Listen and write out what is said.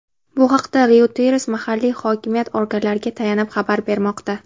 Bu haqda "Reuters" mahalliy hokimiyat organlariga tayanib xabar bermoqda.